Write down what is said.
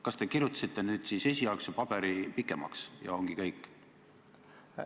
Kas te kirjutasite nüüd siis esialgse paberi pikemaks, ja ongi kõik?